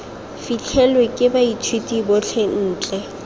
fitlhelelwe ke baithuti botlhe ntle